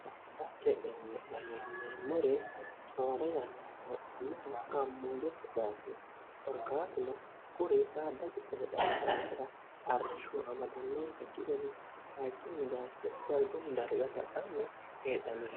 hadachee eamo meemmore toora yano hano gammoo jette baacho orkaatino kuri saadago eedhadaarra arrishshu amadannoonsaki gade hachummi baacho galgun dargasa anni heedhanore